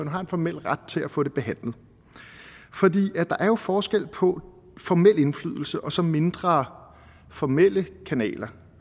har en formel ret til at få det behandlet der er jo forskel på formel indflydelse og så mindre formelle kanaler